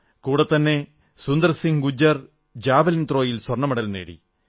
കൂടെത്തന്നെ സുന്ദർ സിംഗ് ഗുർജർ ജാവലിൻ ത്രോയിൽ സ്വർണ്ണമെഡൽ നേടി